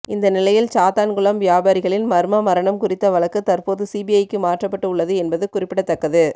இந்த நிலையில் சாத்தான்குளம் வியாபாரிகளின் மர்ம மரணம் குறித்த வழக்கு தற்போது சிபிஐக்கு மாற்றப்பட்டு உள்ளது என்பது குறிப்பிடத்தக்கது